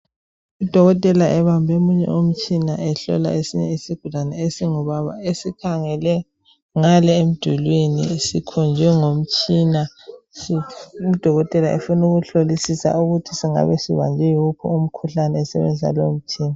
Udokotela ebambe omunye umtshina ehlola esinye isigulani esingubaba esikhangele ngale emdulwini sikhonjwe ngomtshina udokotela efuna ukubona ukuthi sibanjwe yiwuphi umkhuhlane esebenzisa lowomtshina